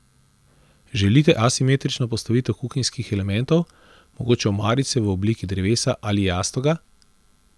Želite asimetrično postavitev kuhinjskih elementov, mogoče omarice v obliki drevesa ali jastoga?